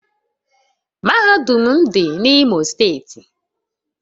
Mahadum m dị n’Imo steeti